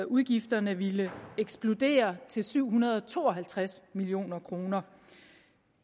udgifterne ville eksplodere til syv hundrede og to og halvtreds million kroner